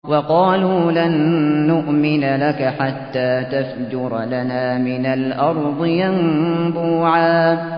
وَقَالُوا لَن نُّؤْمِنَ لَكَ حَتَّىٰ تَفْجُرَ لَنَا مِنَ الْأَرْضِ يَنبُوعًا